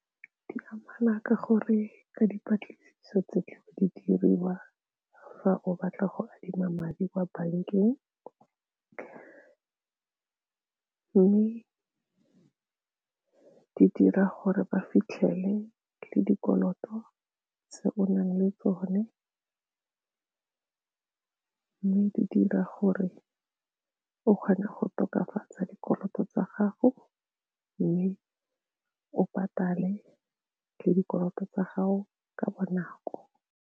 Di amana ka gore ka dipatlisiso tse ke di diriwa fa o batla go adima madi kwa bankeng mme di dira gore ba fitlhele le dikoloto tse onang le tsone di dira gore ke kgone go tokafatsa dikoloto tsa gago mme o patale le dikoloto tsa gago ka bonako.